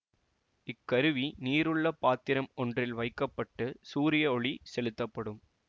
இக்கருவி நீருள்ள பாத்திரம் ஒன்றில் வைக்க பட்டு சூரிய ஒளி செலுத்தப்படும்